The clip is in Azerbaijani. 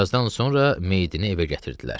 Birazdan sonra meyidini evə gətirdilər.